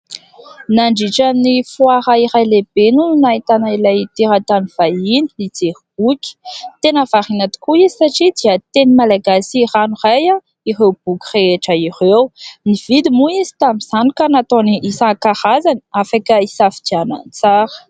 Nandritra ny foara iray lehibe ny no nahitana ilay teran-tany vahiny nijery boky. Tena variana tokoa izy satria dia teny Malagasy rano iray ireo boky rehetra ireo. Nividy moa izy tamin'izany ka nataony isan-karazany afaka hisafidianana tsara.